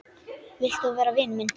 Vilt þú vera vinur minn?